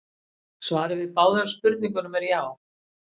Svarið við báðum spurningunum er já.